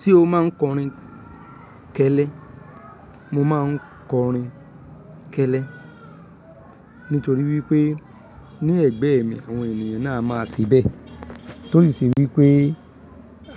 Ṣé o máa ń kọrin kẹ́lẹ́? Mo máa ń kọrin kẹ́lẹ́. Nítorí wí pé ní ẹ̀gbẹ́ mi àwọn ènìyàn náà máa ṣe bẹ́. Tó sì ṣe wípé